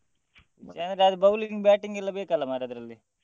ವಿಷಯ ಅಂದ್ರೆ ಅದು bowling batting ಎಲ್ಲ ಬೇಕಲ್ಲ ಮಾರ್ರೆ ಅದ್ರಲ್ಲಿ.